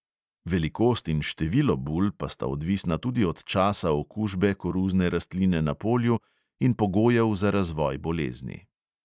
Velikost in število bul pa sta odvisna tudi od časa okužbe koruzne rastline na polju in pogojev za razvoj bolezni.